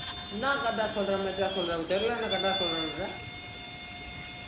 என்ன correct ஆ correct ஆ சொல்றேன்ற